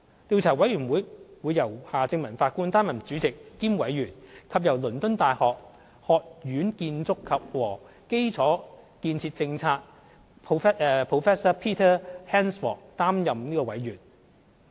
調查委員會由夏正民法官擔任主席兼委員，以及由倫敦大學學院建築和基礎建設政策 Prof Peter HANSFORD 擔任委員。